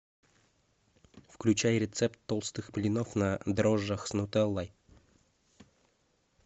включай рецепт толстых блинов на дрожжах с нутеллой